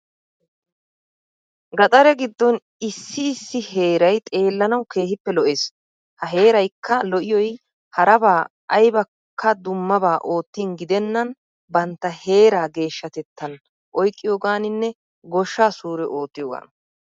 Gatare giddon issi issi heeray xeellanawu keehippe lo'ees. Ha heeraykka lo"iyoy harabaa aybakko dummaba oottin gidennan bantta heeraa geeshshaatettan oyqqiyoogaaninne goshshaa suure oottiyoogaana.